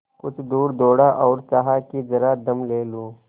कुछ दूर दौड़ा और चाहा कि जरा दम ले लूँ